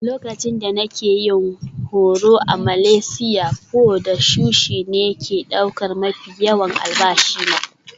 Lokacin da nake yin horo na a Malaysia, pho da sushi ne ke ɗaukar mafi yawan albashi na.